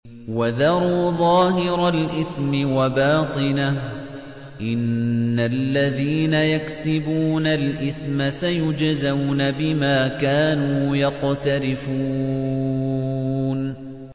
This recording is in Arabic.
وَذَرُوا ظَاهِرَ الْإِثْمِ وَبَاطِنَهُ ۚ إِنَّ الَّذِينَ يَكْسِبُونَ الْإِثْمَ سَيُجْزَوْنَ بِمَا كَانُوا يَقْتَرِفُونَ